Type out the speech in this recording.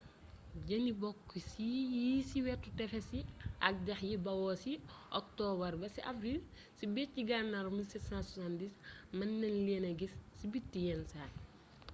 jëni boks yi ci wetu tefes yi ak dex yi bawoo ci oktoobar ba ci awril ci bëj-ganaaru 1770 mën nañ leen a gis ci biti yenn saay